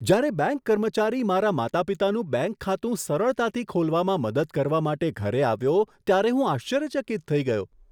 જ્યારે બેંક કર્મચારી મારા માતાપિતાનું બેંક ખાતું સરળતાથી ખોલવામાં મદદ કરવા માટે ઘરે આવ્યો, ત્યારે હું આશ્ચર્યચકિત થઈ ગયો.